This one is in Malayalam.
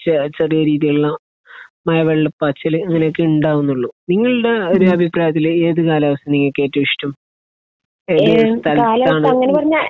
ചെ ചെറിയ രീതിയിലുള്ള മഴവെള്ളപ്പാച്ചിൽ ഇങ്ങനെയൊക്കെ ഉണ്ടാകുന്നത്. നിങ്ങളുടെ ഒരു അഭിപ്രായത്തിൽ ഏത് കാലാവസ്ഥയാണ് നിങ്ങൾക്ക് ഏറ്റവും ഇഷ്ടം?